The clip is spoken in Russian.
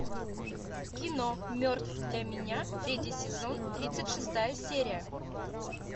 кино мертв для меня третий сезон тридцать шестая серия